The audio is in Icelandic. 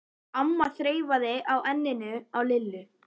amma þreifaði á enninu á Lillu.